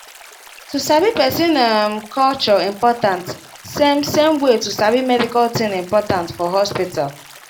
to sabi person um culture important same same way to sabi medical thing important for hospital